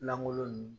Lankolon ninnu